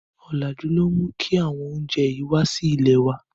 Ọ̀làjú ni ó mú kí àwọn oúnjẹ yìí wá sí ilèe wá.